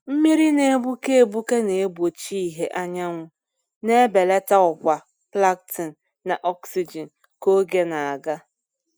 Mmiri na-egbuke egbuke na-egbochi ìhè anyanwụ, na-ebelata ọkwa plankton na oxygen ka oge na-aga.